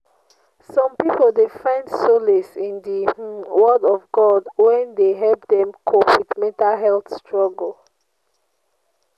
Some people dey find solace in di um word of God wey dey help dem cope with mental health struggle.